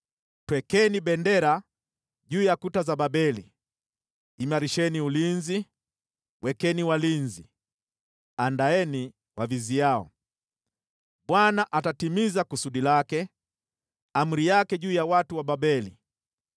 Twekeni bendera juu ya kuta za Babeli! Imarisheni ulinzi, wekeni walinzi, andaeni waviziao! Bwana atatimiza kusudi lake, amri yake juu ya watu wa Babeli.